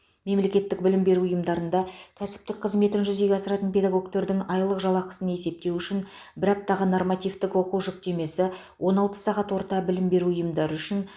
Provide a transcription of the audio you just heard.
мемлекеттік білім беру ұйымдарында кәсіптік қызметін жүзеге асыратын педагогтердің айлық жалақысын есептеу үшін бір аптаға нормативтік оқу жүктемесі он алты сағат орта білім беру ұйымдары үшін